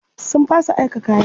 Sun fasa aika kayan.